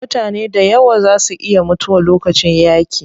Mutane dayawa zaa su iya mutuwa lokacin yaaƙi.